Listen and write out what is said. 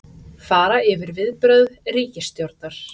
Fara yfir viðbrögð ríkisstjórnar